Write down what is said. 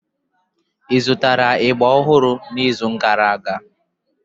Ị zụtara ịgba ọhụrụ n'izu gara aga?